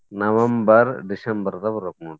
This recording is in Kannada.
November December ದಾಗ್ ಬರ್ಬೆಕ್ ನೋಡ್ರಿ.